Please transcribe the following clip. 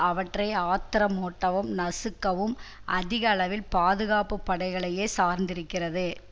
அவற்றை ஆத்திரமூட்டவும் நசுக்கவும் அதிக அளவில் பாதுகாப்பு படைகளையே சார்ந்திருக்கிறது